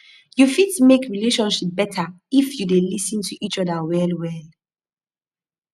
yu fit mek relationship beta if yu dey lis ten to each oda well well